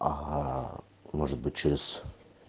аа может быть через